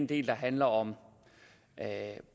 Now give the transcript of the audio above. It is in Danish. del handler om